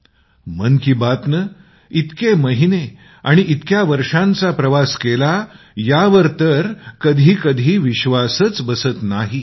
अनेक वेळा मन की बात ने इतके महिने आणि इतके वर्षांचा प्रवास केला यावर विश्वासच बसत नाही